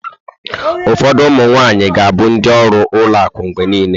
Ụfọdụ ụmụ nwaanyị ga-abụ ndị ọrụ ụlọ akụ mgbe niile.